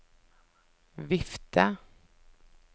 vifte